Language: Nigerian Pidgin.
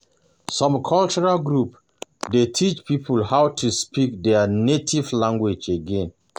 Some cultural groups dey teach people how to speak their native language again.